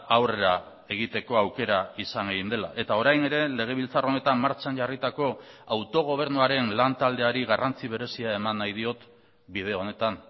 aurrera egiteko aukera izan egin dela eta orain ere legebiltzar honetan martxan jarritako autogobernuaren lan taldeari garrantzi berezia eman nahi diot bide honetan